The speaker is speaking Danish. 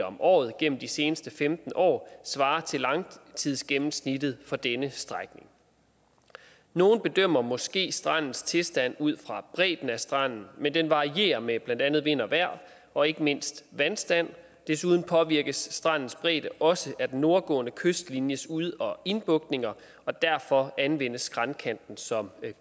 om året gennem de seneste femten år svarer til langtidsgennemsnittet for denne strækning nogle bedømmer måske strandens tilstand ud fra bredden af stranden men den varierer med blandt andet vind og vejr og ikke mindst vandstand desuden påvirkes strandens bredde også af den nordgående kystlinjes ud og indbugtninger og derfor anvendes skræntkanten som